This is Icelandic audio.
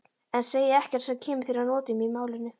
En segi ekkert sem kemur þér að notum í málinu.